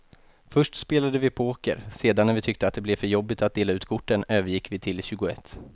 Först spelade vi poker, sedan när vi tyckte att det blev för jobbigt att dela ut korten övergick vi till tjugoett.